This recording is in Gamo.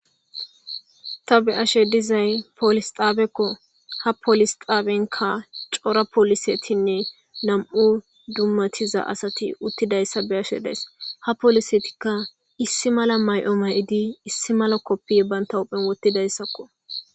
Ta be'ashe dizay polis xaabekko ha polis xaabenka cora polisetinne lam7u dummatiza asati uttidayssa be ashe dees ha polisetikka issi mala may7o may7idi issi mala koppi banta huphen wottidayssakko.